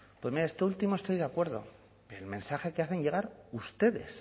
pues mire esto último estoy de acuerdo el mensaje que hacen llegar ustedes